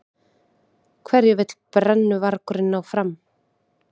Hverju vill brennuvargurinn ná fram?